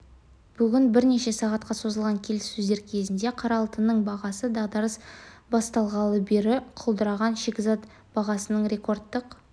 бүгін бірнеше сағатқа созылған келіссөздер кезінде қара алтынның бағасы дағдарыс басталғалы бері құлдыраған шикізат бағасының рекордтық